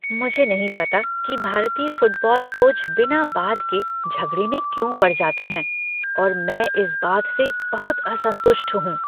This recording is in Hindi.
मुझे नहीं पता कि भारतीय फुटबॉल कोच बिना बात के झगड़े में क्यों पड़ जाते हैं और मैं इस बात से बहुत असंतुष्ट हूँ।